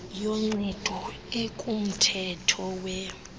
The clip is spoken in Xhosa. yoncedo ekumthetho we